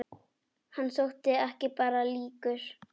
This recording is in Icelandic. Hann þótti ekki bara líkur